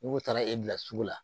N'u taara e bila sugu la